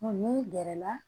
ni gɛrɛla